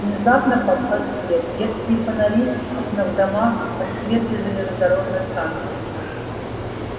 внезапно погас свет редкие фонари окна в домах отсветы железнодорожной станции